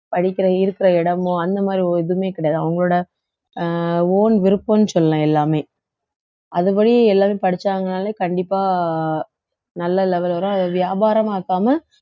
படிக்கிற இருக்கிற இடமோ அந்த மாதிரி ஒரு எதுவுமே கிடையாது அவங்களோட அஹ் own விருப்பம்னு சொல்லலாம் எல்லாமே அதுபடி எல்லாரும் படிச்சாங்கன்னாலே கண்டிப்பா நல்ல level வரும் அதை வியாபாரமாக்காம